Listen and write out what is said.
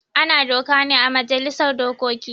Ana doka ne ã majalisar dokoki.